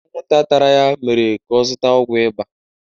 Anwụnta tara ya mere ka ọ zụta ọgwụ ịba.